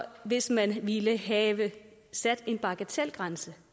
hvis man ville have sat en bagatelgrænse